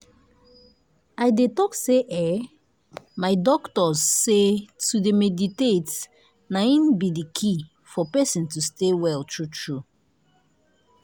i dey talk say eeh my doctors say to dey meditate na in be the key for person to stay well true true.